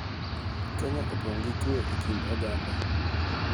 Kenya opong� gi kue e kind oganda.